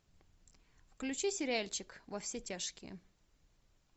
включи сериальчик во все тяжкие